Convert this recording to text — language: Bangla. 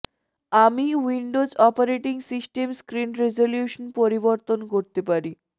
আমি Windows operating system screen resolution পরিবর্তন করতে পারি